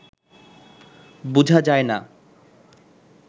বুঝা যায় না